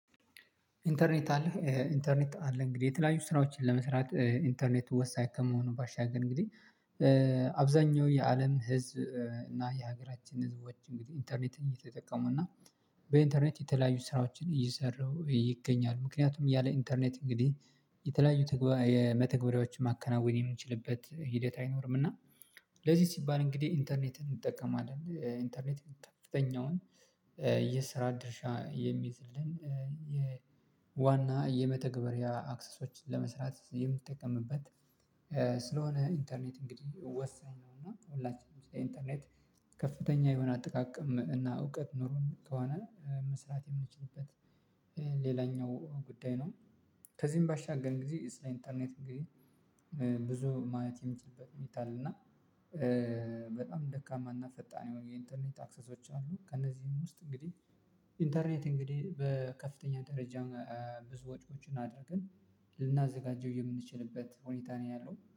ኢንተርኔት አለህ ኢንተርኔት አለ እንግዲህ የተለያዩ ስራዎችን ለመስራት ኢንተርኔት ወሳኝ ከመሆኑ ባሻገር እንግዲህ አብዛኛው የአለም ህዝብ እና የሀገራችን ህዝቦች እንግዲህ ኢንተርኔት እየተጠቀሙ እና በኢንተርኔት የተለያዩ ስራዎችን እየሰሩ ይገኛሉ ምክንያቱም ያለ ኢንተርኔት እንግዲህ የተለያዩ ተግባ መተግበሪያዎችን ማከናወን የምንችልበት ሂደት አይኖርም። እና ለዚህ ሲባል እንግዲህ ኢንተርኔትን እንጠቀማለን ኢንተርኔት ከፍተኛውን የስራ ድርሻ የሚይዝልን የዋና የመተግበሪያ አክሰሶችን ለመስራት የምትጠቀምበት ስለሆነ ኢንተርኔት እንግዲህ ወሳኝ ነው። እና ሁላችንም ስለ ኢንተርኔት ከፍተኛ የሆነ አጠቃቀም እና እውቀት ኖሮን ከሆነ መስራት የምንችልበት ሌላኛው ጉዳይ ነው። ከዚህም ባሻገር እንግዲህ ኢንተርኔት እንግዲህ ብዙ ማየት የምችልበት ሁኔታ አለ። እና በጣም ደካማና ፈጣን የሆኑ የኢንተርኔት አክሰሶች አሉ። ከእነዚህም ውስጥ እንግዲህ ኢንተርኔት እንግዲህ በከፍተኛ ደረጃ ብዙ ወጪዎችን አድርገን ልናዘጋጀው የምንችልበት ሁኔታ ነው ያለው